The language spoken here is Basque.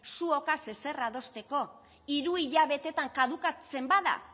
zuokaz ezer adosteko hiru hilabeteetan kadukatzen bada